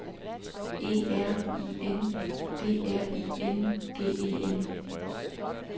E R I N D R I N G E N